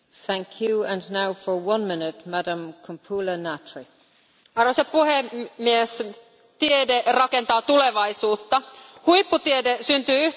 Arvoisa puhemies, tiede rakentaa tulevaisuutta, huipputiede syntyy yhteistyöstä, eivätkä tieteen saavutukset saa pysähtyä valtioiden rajoille.